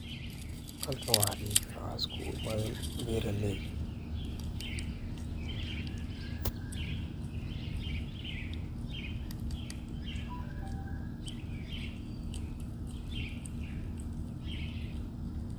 halkan waxaa dhihi waxaa iskuugu imaaden beraley